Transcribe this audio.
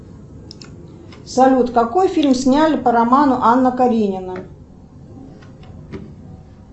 салют какой фильм сняли по роману анна каренина